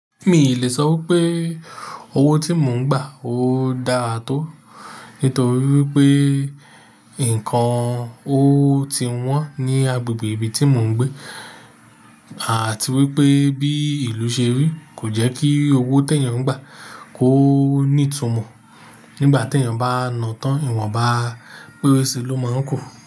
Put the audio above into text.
Mi lè sọ wípé owó tí mò ń gbà ó dáa tó, nítorí wípé nǹkan ó ti wọ́n ní agbègbè ibi tí mò ń gbé àti wípé bí ìlú ṣe rí kò jẹ́ kí owó tí èyan ń gbà kó ní ìtumọ̀. Nígbà tí ènìyàn bá nà tán, ìwọ̀n bá péré sí i ló máa ń kù.